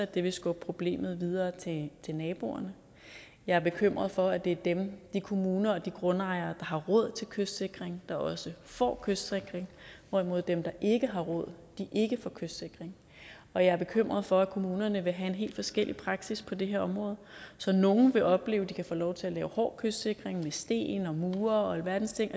det vil skubbe problemet videre til naboerne jeg er bekymret for at det er dem de kommuner og de grundejere har råd til kystsikring så også får kystsikring hvorimod dem der ikke har råd ikke får kystsikring og jeg er bekymret for at kommunerne vil have en helt forskellig praksis på det her område så nogle vil opleve at de kan få lov til at lave hård kystsikring med sten mure og alverdens ting